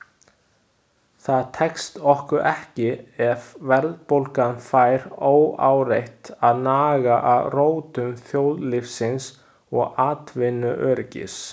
Það tekst okkur ekki ef verðbólgan fær óáreitt að naga að rótum þjóðlífsins og atvinnuöryggis.